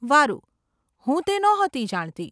વારુ, હું તે નહોતી જાણતી.